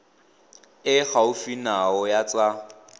e gaufi nao ya tsa